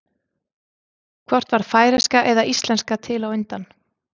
Hvort varð færeyska eða íslenska til á undan?